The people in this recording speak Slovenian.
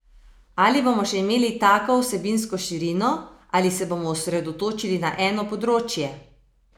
Ali bomo še imeli tako vsebinsko širino ali se bomo osredotočili na eno področje?